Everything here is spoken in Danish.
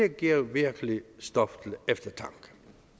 giver virkelig stof til eftertanke